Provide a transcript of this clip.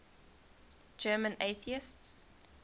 german atheists